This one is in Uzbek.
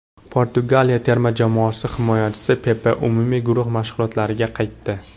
Portugaliya terma jamoasi himoyachisi Pepe umumiy guruh mashg‘ulotlariga qaytdi.